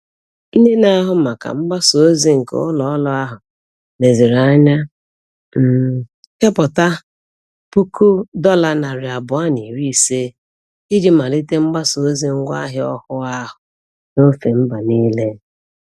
Ndị na-ahụ maka mgbasa ozi nke ụlọọrụ ahụ leziri anya um kepụta $250,000 iji malite mgbasa ozi ngwaahịa ọhụụ ahụ n'ofe mba niile.